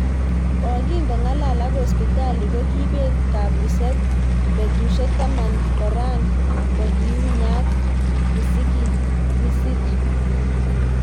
Kokikongalal ak Hospitali kokibet kabuzet ik betushek taman koran kokiunyanat misik.